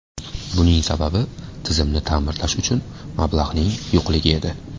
Buning sababi tizimni ta’mirlash uchun mablag‘ning yo‘qligi edi.